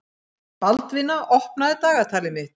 Baldvina, opnaðu dagatalið mitt.